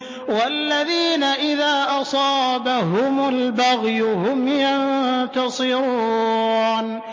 وَالَّذِينَ إِذَا أَصَابَهُمُ الْبَغْيُ هُمْ يَنتَصِرُونَ